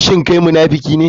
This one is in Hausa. Shin kai munafiki ne?